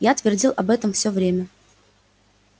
я твердил об этом всё время